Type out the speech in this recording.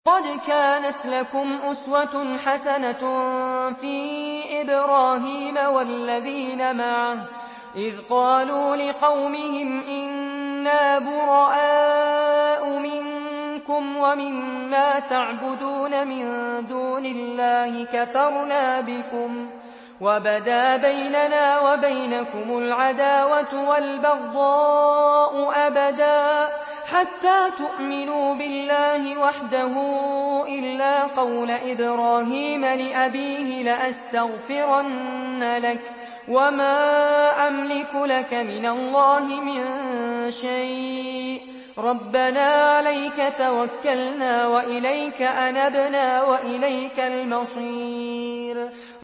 قَدْ كَانَتْ لَكُمْ أُسْوَةٌ حَسَنَةٌ فِي إِبْرَاهِيمَ وَالَّذِينَ مَعَهُ إِذْ قَالُوا لِقَوْمِهِمْ إِنَّا بُرَآءُ مِنكُمْ وَمِمَّا تَعْبُدُونَ مِن دُونِ اللَّهِ كَفَرْنَا بِكُمْ وَبَدَا بَيْنَنَا وَبَيْنَكُمُ الْعَدَاوَةُ وَالْبَغْضَاءُ أَبَدًا حَتَّىٰ تُؤْمِنُوا بِاللَّهِ وَحْدَهُ إِلَّا قَوْلَ إِبْرَاهِيمَ لِأَبِيهِ لَأَسْتَغْفِرَنَّ لَكَ وَمَا أَمْلِكُ لَكَ مِنَ اللَّهِ مِن شَيْءٍ ۖ رَّبَّنَا عَلَيْكَ تَوَكَّلْنَا وَإِلَيْكَ أَنَبْنَا وَإِلَيْكَ الْمَصِيرُ